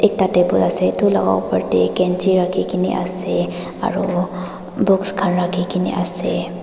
tate table ase aru upar te kanchi rakhi kena ase aru box khan rakhi kena ase.